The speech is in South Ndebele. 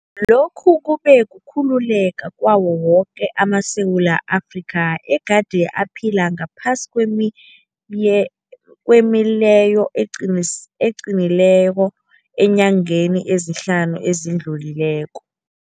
Lokhu kube kukhululeka kwawo woke amaSewula Afrika egade aphila ngaphasi kwemileyo eqinileko eenyangeni ezihlanu ezidlulileko.